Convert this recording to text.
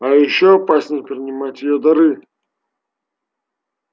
а ещё опаснее принимать её дары